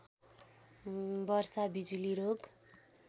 वर्षा बिजुली रोग